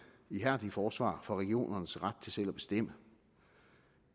ihærdige forsvar for regionernes ret til selv at bestemme